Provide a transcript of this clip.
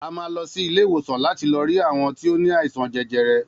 A má lọsí ilé ìwòsàn láti lọ rí àwọn ti o ní àìsàn jẹjẹrẹ